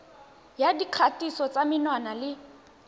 ya dikgatiso tsa menwana le